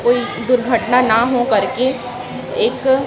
कोई दुर्घटना ना हो करके एक--